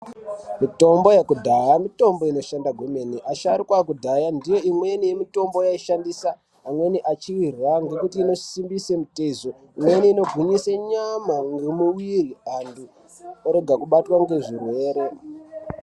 Mitombo yekudhaya mitombo inoshanda zvemene. Asharukwa ekudhaya ndiyo imweni yemitombo yavaishandisa, amweni achiirya ngekuti inosimbisa mitezo, imweni ingwinyisa nyama ngemuviri, antu orega kubatwa ngezvirwere.